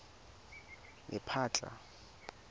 lephatla